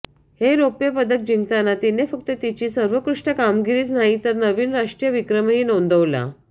हे रौप्यपदक जिंकताना तिने फक्त तिची सवरेत्कृष्ट कामगिरीच नाही तर नवीन राष्ट्रीय विक्रमही नोंदवला